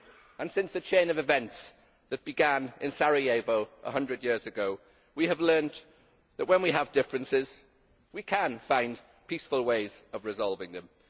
And since the chain of events that began in Sarajevo 100 years ago, we have learnt that when we have differences we can find peaceful ways of resolving them.